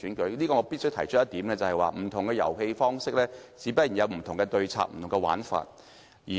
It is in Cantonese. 就此，我必須提出一點，不同的遊戲方式，自然有不同的對策和玩法。